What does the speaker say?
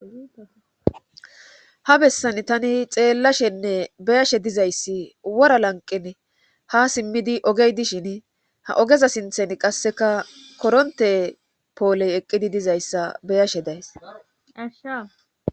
ha bessan tani xeellashenne beyashe dizayssi wora lanqin ha simmidi ogey dishin ha ogeza sinthen qasseka koronte pooley eqqidi dizayssa beyashe daysa